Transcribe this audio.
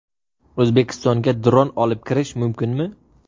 O‘zbekistonga dron olib kirish mumkinmi?.